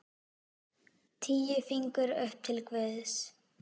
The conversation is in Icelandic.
Tíu fingur upp til guðs.